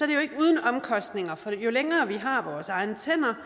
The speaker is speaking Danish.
det jo ikke uden omkostninger for jo længere vi har vores egne tænder